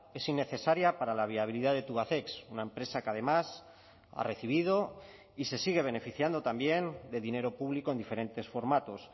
es innecesaria para la viabilidad de tubacex una empresa que además ha recibido y se sigue beneficiando también de dinero público en diferentes formatos